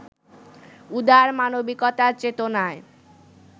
উদার মানবিকতার চেতনায়